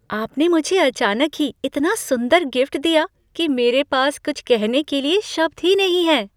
आपने मुझे अचानक ही इतना सुंदर गिफ्ट दिया कि मेरे पास कुछ कहने के लिए शब्द ही नहीं हैं।